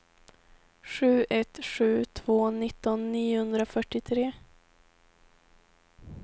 sju ett sju två nitton niohundrafyrtiotre